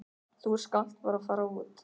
Þú skalt bara fara út.